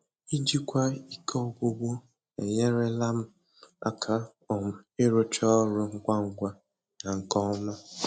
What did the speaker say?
Ijikwa ike ọgwụgwụ enyerela m aka um ịrụcha ọrụ ngwa ngwa na nke ọma.